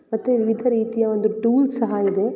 ಮತ್ತೆ ವಿವಿಧ ರೀತಿಯ ಒಂದು ಟೂಲ್ಸ್ ಸಹ ಇದೆ.